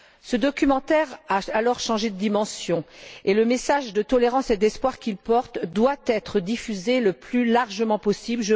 Ce documentaire a alors changé de dimension, et le message de tolérance et d'espoir qu'il porte doit être diffusé le plus largement possible.